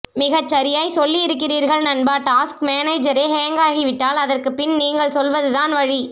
மிகச்சரியாய் சொல்லியிருகிறீர்கள் நண்பா டாஸ்க் மேனேஜரே ஹேங்க் ஆகிவிட்டால் அதற்கு பின் நீங்கள் சொல்வது தான் வழி